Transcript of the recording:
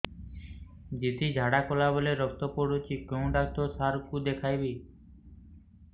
ଦିଦି ଝାଡ଼ା କଲା ବେଳେ ରକ୍ତ ପଡୁଛି କଉଁ ଡକ୍ଟର ସାର କୁ ଦଖାଇବି